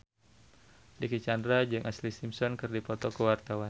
Dicky Chandra jeung Ashlee Simpson keur dipoto ku wartawan